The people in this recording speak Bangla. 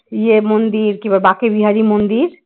ইয়ে মন্দির কি বাঁকেবিহারী মন্দির